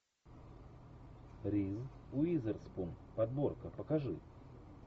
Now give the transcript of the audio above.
риз уизерспун подборка покажи